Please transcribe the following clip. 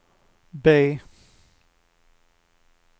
B